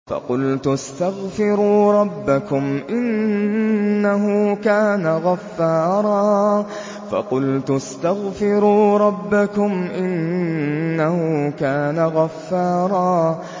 فَقُلْتُ اسْتَغْفِرُوا رَبَّكُمْ إِنَّهُ كَانَ غَفَّارًا